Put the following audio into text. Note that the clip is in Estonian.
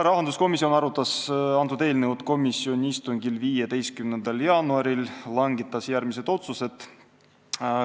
Rahanduskomisjon arutas eelnõu komisjoni istungil 15. jaanuaril ja langetas järgmised otsused.